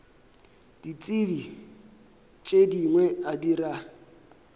ditsebi tše dingwe a dira